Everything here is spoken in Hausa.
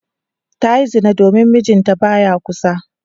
Ta yi zina domin mijinta ba ya kusa.